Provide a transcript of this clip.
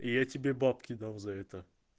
и я тебе бабки дал за это